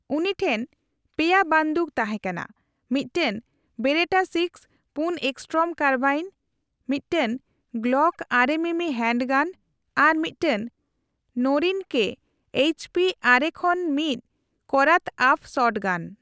ᱩᱱᱤ ᱴᱷᱮᱱ ᱯᱮᱭᱟ ᱵᱟᱱᱫᱩᱠ ᱛᱟᱦᱮᱸ ᱠᱟᱱᱟ ᱺ ᱢᱤᱫᱴᱟᱝ ᱵᱮᱨᱮᱴᱟ ᱥᱤᱮᱠᱥ ᱯᱩᱱ ᱮᱥᱴᱚᱨᱚᱢ ᱠᱟᱨᱵᱟᱭᱤᱱ, ᱢᱤᱫᱴᱟᱝ ᱜᱞᱚᱠ ᱟᱨᱮ ᱢᱤᱢᱤ ᱦᱮᱱᱰᱜᱟᱱ ᱟᱨ ᱢᱤᱫᱴᱟᱝ ᱱᱚᱨᱤᱱᱠᱳ ᱮᱭᱤᱪᱯᱤ ᱟᱨᱮ ᱠᱷᱚᱱ ᱢᱤᱛ ᱠᱚᱨᱟᱛᱼᱟᱯᱷ ᱥᱚᱴᱜᱟᱱ ᱾